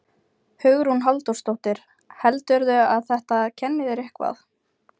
Hugrún Halldórsdóttir: Heldurðu að þetta kenni þér eitthvað?